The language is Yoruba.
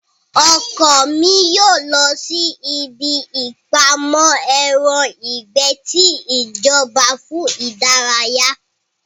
Ọkọ mi yóò lọ sí ibí ìpamọ́ ẹran ìgbẹ́ ti ìjọba fún ìdárayá